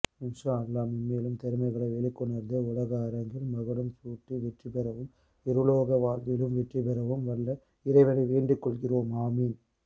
இன்ஷா அல்லாஹ் மென்மேலும் திறமைகளைவெளிக்கொனர்ந்து உலகஅரங்கில் மகுடம்சூட்டிவெற்றிபெறவும் இருலோகவாழ்விலும் வெற்றிபெறவும் வல்ல இறைவனை வேண்டிக்கொள்கிறோம் ஆமீன்